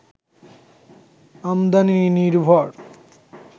আমদানি নির্ভর